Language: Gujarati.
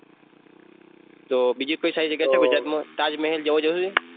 તો બીજી કોઈ સારી જગ્યા છે ગુજરાતમાં તાજ મહેલ જોવા જવું છે?